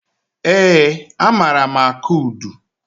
Eé, amaara m akụ udu.